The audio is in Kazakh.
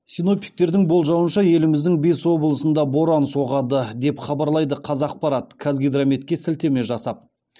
синоптиктердің болжауынша еліміздің бес облысында боран соғады деп хабарлайды қазақпарат қазгидрометке сілтеме жасап